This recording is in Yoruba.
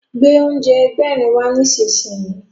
Gbé oúnjẹ Ẹgbẹ̀rin wá nísinsìnyí!